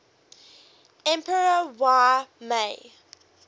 emperor y mei